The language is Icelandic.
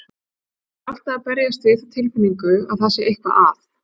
Ég þarf alltaf að berjast við þá tilfinningu að það sé eitthvað að.